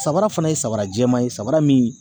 Samara fana ye samara jɛman ye samara min